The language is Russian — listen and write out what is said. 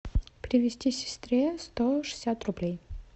перевести сестре сто шестьдесят рублей